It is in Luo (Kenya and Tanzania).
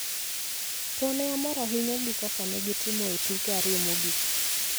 to ne omor ahinya gi kaka ne gitimo e tuke ariyo mogik.